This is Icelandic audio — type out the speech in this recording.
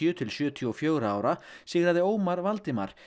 til sjötíu og fjögurra ára sigraði Ómar Valdimar